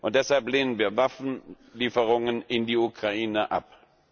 Deshalb lehnen wir Waffenlieferungen in die Ukraine ab.